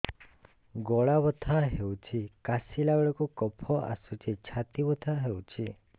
ଗଳା ବଥା ହେଊଛି କାଶିଲା ବେଳକୁ କଫ ଆସୁଛି ଛାତି ବଥା ହେଉଛି